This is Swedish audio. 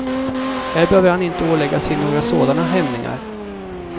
Här behöver han inte ålägga sig några sådana hämningar.